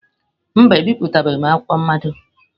Mba, ebipụtabeghị m akwụkwọ mmado.